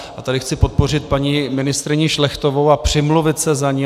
A tady chci podpořit paní ministryni Šlechtovou a přimluvit se za ni.